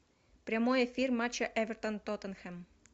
прямой эфир матча эвертон тоттенхэм